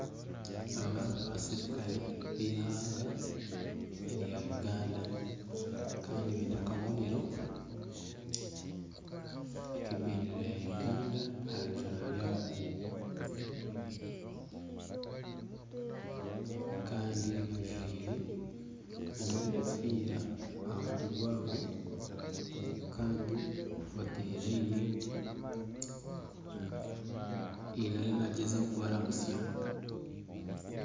Aba n'abaserukare b’eihanga erya Uganda kandi biine akabonero ak'ebindeera ya Uganda aha bijwaro byabo kandi bajwaire n'obukofiira aha mutwe gwabo kandi bataire layini haine ariyo nagyezaho kubaramutsya.